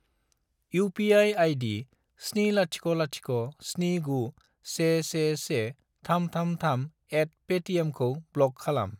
UPI. ID. 70069111333@paytm खौ block खालाम।